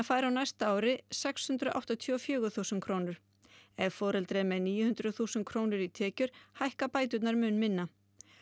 fær á næsta ári sex hundruð áttatíu og fjögur þúsund krónur ef foreldrið er með níu hundruð þúsund krónur í tekjur hækka bæturnar mun minna